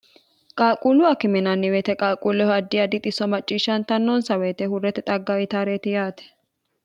qaalquullu akkiminanniweyite qaalquullehu addi adixisso macciishshantannoonsa woyite hurrete xagga itaareeti yaate